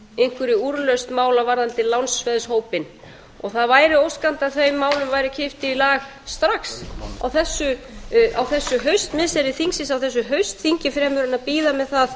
einhverri úrlausn mála varðandi lánsveðshópinn það væri óskandi að þeim málum væri kippt í lag strax á þessu haustmissiri þingsins á þessu haustþingi fremur en að bíða með það